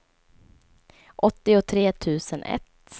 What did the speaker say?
åttiotre tusen ett